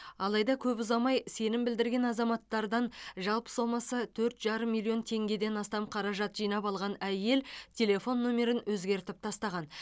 алайда көп ұзамай сенім білдірген азаматтардан жалпы сомасы төрт жарым миллион теңгеден астам қаражат жинап алған әйел телефон номерін өзгертіп тастаған